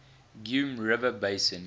geum river basin